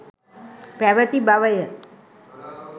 පැවැති බවය.